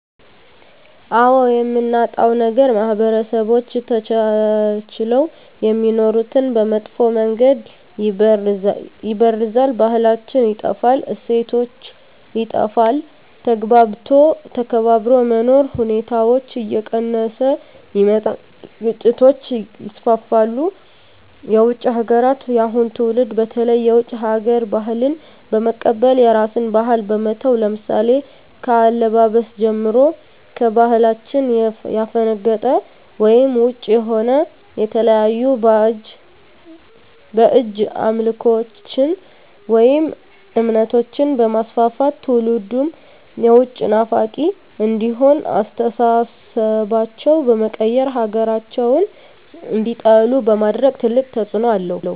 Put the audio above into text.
አዎ የምናጣዉ ነገር ማህበረሰቦች ተቻችለዉ የሚኖሩትን በመጥፋ መንገድ ይበርዛል ባህላችን ይጠፋል እሴቶች ይጠፋል ተግባብቶ ተከባብሮ የመኖር ሁኔታዎች እየቀነሰ ይመጣል ግጭቶች ይስፍፍሉ የዉጭ ሀገራትን የአሁኑ ትዉልድ በተለይ የዉጭ ሀገር ባህልን በመቀበል የራስን ባህል በመተዉ ለምሳሌ ከአለባበስጀምሮ ከባህላችን ያፈነቀጠ ወይም ዉጭ የሆነ የተለያዩ ባእጅ አምልኮችን ወይም እምነቶችንበማስፍፍት ትዉልዱም የዉጭ ናፋቂ እንዲሆን አስተሳሰባቸዉ በመቀየር ሀገራቸዉን እንዲጠሉ በማድረግ ትልቅ ተፅዕኖ አለዉ